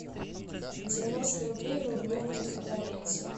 девяносто рублей в рублевом эквиваленте